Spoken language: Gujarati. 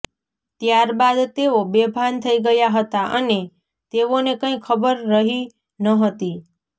ત્યારબાદ તેઓ બેભાન થઈ ગયા હતા અને તેઓને કંઈ ખબર રહી ન હતી